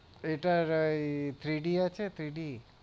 এটার ওই Three D আছে Three D